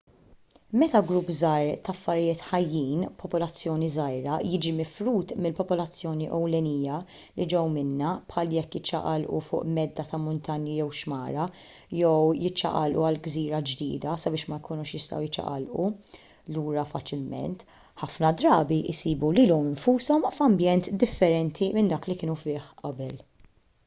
meta grupp żgħir ta' affarijiet ħajjin popolazzjoni żgħira jiġi mifrud mill-popolazzjoni ewlenija li ġew minnha bħal jekk jiċċaqalqu fuq medda ta' muntanji jew xmara jew jekk jiċċaqalqu għal gżira ġdida sabiex ma jkunux jistgħu jiċċaqalqu lura faċilment ħafna drabi jsibu lilhom infushom f'ambjent differenti minn dak li kienu fih qabel